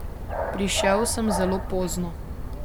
Prišel sem zelo pozno.